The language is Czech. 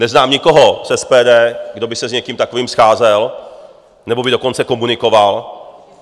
Neznám nikoho z SPD, kdo by se s někým takovým scházel, nebo by dokonce komunikoval.